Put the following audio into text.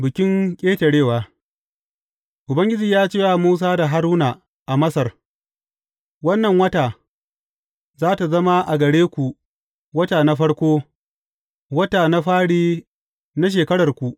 Bikin Ƙetarewa Ubangiji ya ce wa Musa da Haruna a Masar, Wannan wata za tă zama a gare ku wata na farko, wata na fari na shekararku.